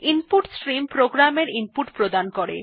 input stream প্রোগ্রামের input প্রদান করে